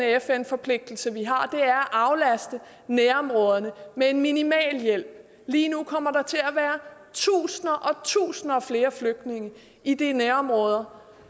fn forpligtelse vi har er at aflaste nærområderne med en minimal hjælp lige nu kommer der til at være tusinder og tusinder af flere flygtninge i de nærområder